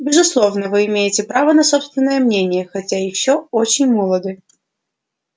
безусловно вы имеете право на собственное мнение хотя ещё очень молоды